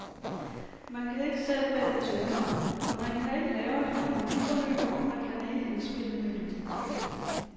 Man kan ikke selv vælge tonart, man kan ikke lave et harmoniforløb, og man kan ikke indspille en melodi.